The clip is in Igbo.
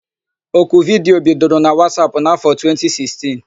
Oku vidiyo bidoro na Wasap n'afọ 2016.